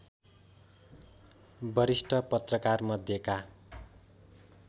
वरिष्ठ पत्रकारमध्येका